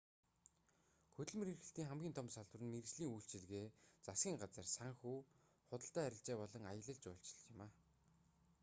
хөдөлмөр эрхлэлтийн хамгийн том салбар нь мэргэжлийн үйлчилгээ засгийн газар санхүү худалдаа арилжаа болон аялал жуулчлал юм